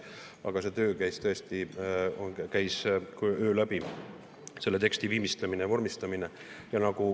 Aga töö käis tõesti öö läbi, seda teksti viimistleti ja vormistati.